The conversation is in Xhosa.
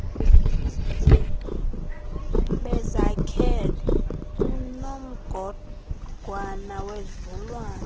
bezakhele unomgogwana wezulwana